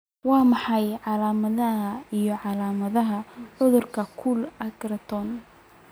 Waa maxay calaamadaha iyo calaamadaha cudurka Cold agglutinin?